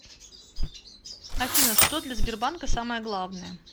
афина что для сбербанка самое главное